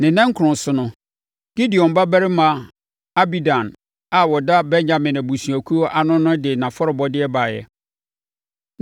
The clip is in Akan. Ne nna nkron so no, Gideoni babarima Abidan a ɔda Benyamin abusuakuo ano no de nʼafɔrebɔdeɛ baeɛ.